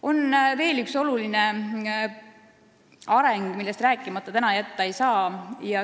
On veel üks oluline areng, millest ei saa täna rääkimata jätta.